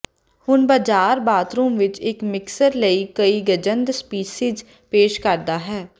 ਹੁਣ ਬਾਜ਼ਾਰ ਬਾਥਰੂਮ ਵਿੱਚ ਇੱਕ ਮਿਕਸਰ ਲਈ ਕਈ ਗਜੰਦ ਸਪੀਸੀਜ਼ ਪੇਸ਼ ਕਰਦਾ ਹੈ